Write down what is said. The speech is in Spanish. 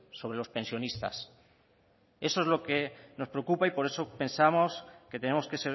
sobre los pensionistas eso es lo que nos preocupa y por eso pensamos que tenemos que